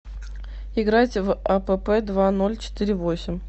играть в апп два ноль четыре восемь